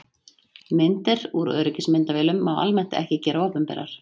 Myndir úr öryggismyndavélum má almennt ekki gera opinberar.